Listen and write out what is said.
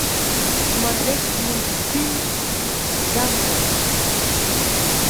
смотреть мультфильм дамбо